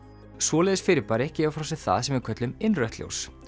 svoleiðis fyrirbæri gefa frá sér það sem við köllum innrautt ljós